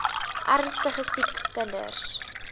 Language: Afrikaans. ernstige siek kinders